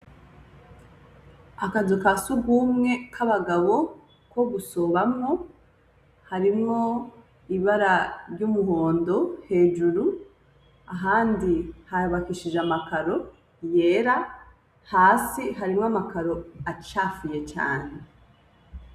Akazu kasugumwe kabagabo ko gusobamwo harimwo ibara ryumuhondo hejuru ahandi hubakishije amakaro yera hasi harimwo amakaro acafuye cane.